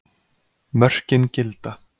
Mörkin gilda.